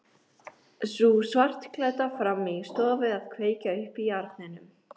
Sú svartklædda frammi í stofu að kveikja upp í arninum.